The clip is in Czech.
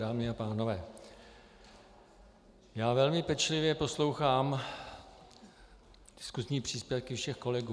Dámy a pánové, já velmi pečlivě poslouchám diskusní příspěvky všech kolegů.